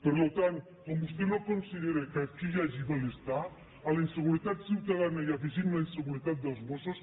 per tant com vostè no considera que aquí hi hagi malestar a la inseguretat ciutadana hi afegim la inseguretat dels mossos